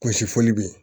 Kunsi fɔli bɛ yen